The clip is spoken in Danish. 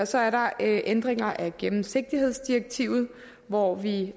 så er der ændringer af gennemsigtighedsdirektivet hvor vi